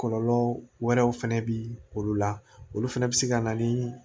Kɔlɔlɔ wɛrɛw fɛnɛ bɛ olu la olu fɛnɛ bɛ se ka na ni